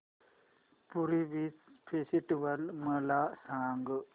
पुरी beach festival मला सांग